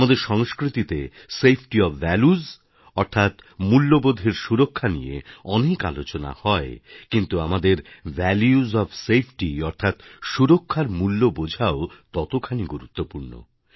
আমাদের সংস্কৃতিতে safety of values অর্থাৎ মূল্যবোধের সুরক্ষা নিয়ে অনেক আলোচনা হয় কিন্তু আমাদের ভ্যালুসফ সেফটি অর্থাৎ সুরক্ষার মূল্য বোঝাও ততখানি গুরুত্বপূর্ণ